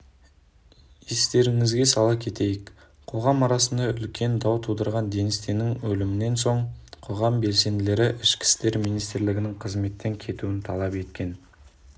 естеріңізге сала кетейік қоғам арасында үлкен дау тудырған денис теннің өлімінен соң қоғам белсенділері ішкі істер министрінің қызметтен кетуін талап еткен